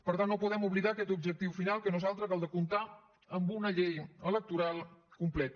per tant no podem oblidar aquest objectiu final que no és altre que el de comptar amb una llei electoral completa